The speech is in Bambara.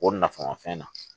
O nafama fɛn na